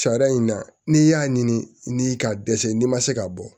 Sariya in na n'i y'a ɲini n'i ka dɛsɛ n'i ma se ka bɔ